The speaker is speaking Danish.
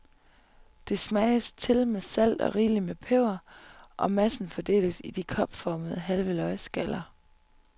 Det smages til med salt og rigeligt med peber, og massen fordeles i de kopformede, halve løgskaller.